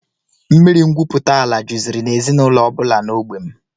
Mmiri ngwupụtaala juziri n'ezinụlọ ọbụla n'ógbè m